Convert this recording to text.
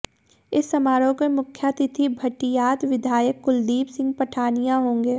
इस समारोह के मुख्यातिथि भटियात विधायक कुलदीप सिंह पठानिया होंगे